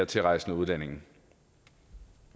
tilrejsende udlændinge